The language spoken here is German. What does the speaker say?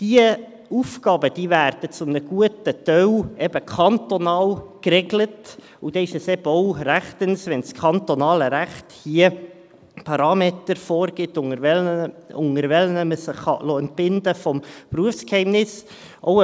Diese Aufgaben werden zu einem guten Teil kantonal geregelt, und dann ist es eben auch rechtens, wenn das kantonale Recht hier Parameter vorgibt, unter welchen Voraussetzungen man sich vom Berufsgeheimnis entbinden lassen kann.